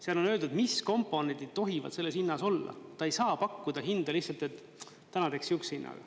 Seal on öeldud, mis komponendi tohivad selles hinnas olla, ta ei saa pakkuda hinda lihtsalt, et täna teeks sihukese hinna.